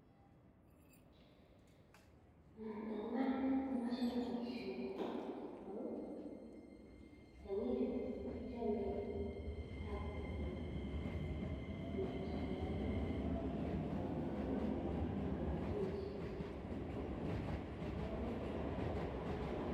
Eng iman komachame paishonii amuu tiangikchu kochame chapuk neaa chamee kosamisikee akwamishe kosamisiit